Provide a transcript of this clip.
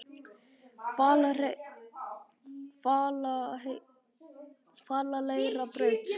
Hvaleyrarbraut